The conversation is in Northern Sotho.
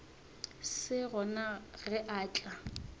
se gona ge a tla